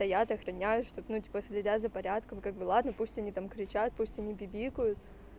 стоят охраняю чтоб ну типа следят за порядком как бы ладно пусть они там кричат пусть они не пипикают